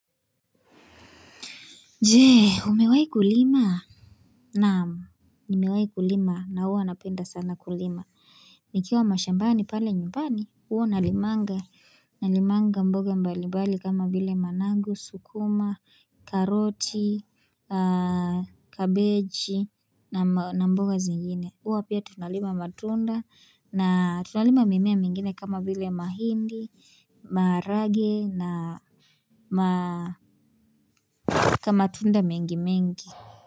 Jee umewayi kulima na nimewayi kulima na huwa napenda sana kulima Nikiwa mashambani pale nyumbani uo nalimanga Nalimanga mboga mbalibali kama vile manangu sukuma karoti Kabeji na mboga zingine uo pia tunalima matunda na tunalima mimea mingine kama vile mahindi Marage na kama tunda mingi mingi.